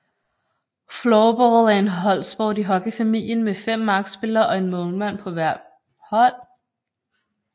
Floorball er en holdsport i hockeyfamilien med 5 markspillere og en målmand på hvert hold